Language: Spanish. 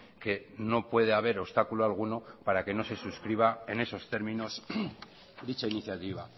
que no puede haber obstáculo alguno para que no se suscriba en esos términos dicha iniciativa